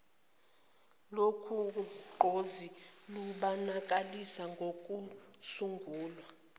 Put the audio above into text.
lolugqozi lubonakaliswe ngokusungulwa